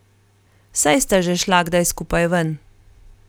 Saj sta že šla kdaj skupaj ven.